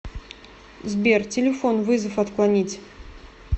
сбер телефон вызов отклонить